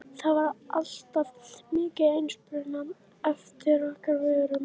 það var alltaf mikil eftirspurn eftir okkar vörum.